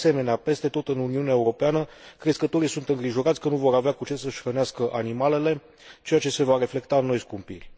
De asemenea, peste tot în Uniunea Europeană, crescătorii sunt îngrijorați că nu vor avea cu ce să își hrănească animalele, ceea ce se va reflecta în noi scumpiri.